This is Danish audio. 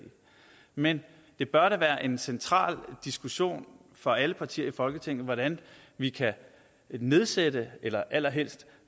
men det bør da være en central diskussion for alle partier i folketinget hvordan vi kan nedsætte eller allerhelst